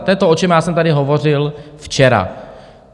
To je to, o čem já jsem tady hovořil včera.